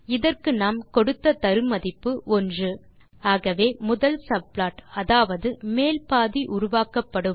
இதற்கு நாம் கொடுத்த தரு மதிப்பு 1 ஆகவே முதல் சப்ளாட் அதாவது மேல் பாதி உருவாக்கப் படும்